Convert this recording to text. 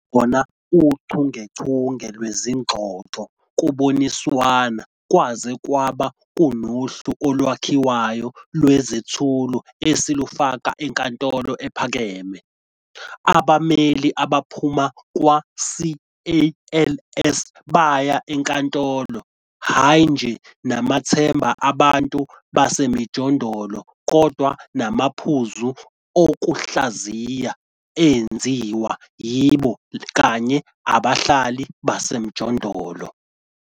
Kwabakhona uchungechunge lezingxoxo kuboniswana kwaze kwaba kunohlu olwakhiwayo lwezethulo esilufaka enkantolo ephakeme. Abameli abaphuma kwa CALS baya enkantolo hayi nje namathemba abantu basemijondolo kodwa namaphuzu okuhlaziya enziwe yibo kanye abahlali basemjondolo.